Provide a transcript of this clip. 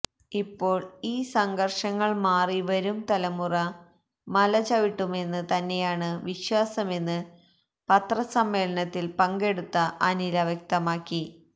ഇപ്പോള് ഈ സംഘര്ഷങ്ങള് മാറി വരും തലമുറ മലചവിട്ടുമെന്ന് തന്നെയാണ് വിശ്വാസമെന്ന് പത്രസമ്മേളനത്തില് പങ്കെടുത്ത അനില വ്യക്തമാക്കി